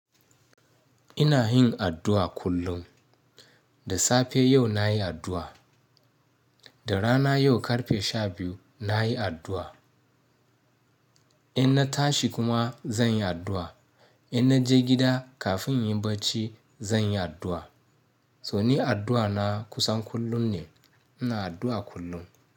Ina yin addu'a kullum. Da safe yau na yi addu'a, da rana yau karfe shabiyu na yi addu'a. In na tashi kuma zan yi addu'a, in na je gida kafin inyin bacci zan yi addu'a. To ni ardu'a na kusan kullum ne. Ina addu'a kullum.